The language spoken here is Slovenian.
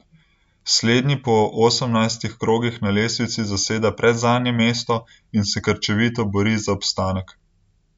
Slednji po osemnajstih krogih na lestvici zaseda predzadnje mesto in se krčevito bori za obstanek.